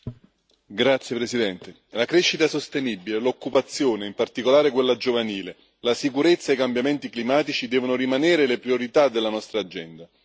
Signor Presidente, onorevoli colleghi, la crescita sostenibile e l'occupazione, in particolare quella giovanile, la sicurezza e i cambiamenti climatici devono rimanere le priorità della nostra agenda.